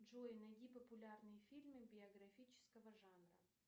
джой найди популярные фильмы биографического жанра